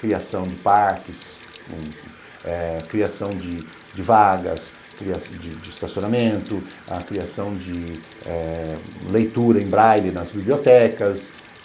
Criação de parques, eh criação de vagas, de estacionamento, a criação de leitura em braile nas bibliotecas.